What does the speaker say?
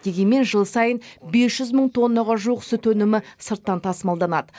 дегенмен жыл сайын бес жүз мың тоннаға жуық сүт өнімі сырттан тасымалданады